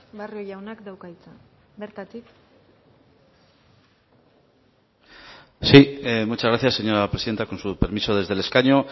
barrio jaunak dauka hitza bertatik sí muchas gracias señora presidenta con su permiso desde el escaño